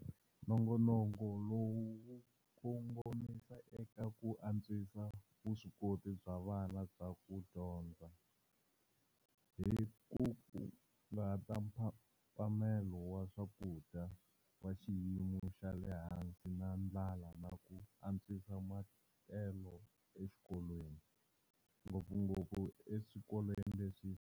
Nongonoko lowu wu kongomisa eka ku antswisa vuswikoti bya vana bya ku dyondza, hi ku hunguta mphamelo wa swakudya wa xiyimo xa le hansi na ndlala na ku antswisa matelo exikolweni, ngopfungopfu eswikolweni leswi.